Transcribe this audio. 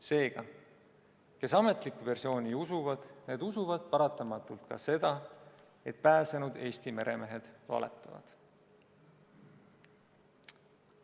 Seega, kes ametlikku versiooni usuvad, need usuvad paratamatult ka seda, et pääsenud Eesti meremehed valetavad.